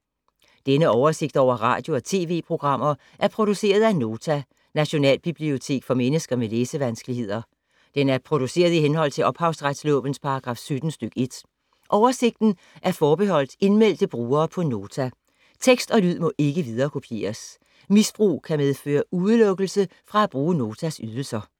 Denne oversigt over radio og TV-programmer er produceret af Nota, Nationalbibliotek for mennesker med læsevanskeligheder. Den er produceret i henhold til ophavsretslovens paragraf 17 stk. 1. Oversigten er forbeholdt indmeldte brugere på Nota. Tekst og lyd må ikke viderekopieres. Misbrug kan medføre udelukkelse fra at bruge Notas ydelser.